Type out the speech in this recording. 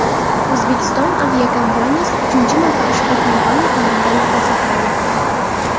O‘zbekiston aviakompaniyasi uchinchi marta ushbu kompaniya tomonidan mukofotlanmoqda.